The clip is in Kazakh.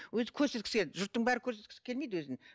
өзі көрсеткісі келеді жұрттың бәрі көрсеткісі келмейді өзін